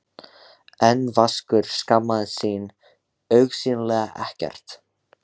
En Vaskur skammaðist sín augsýnilega ekkert.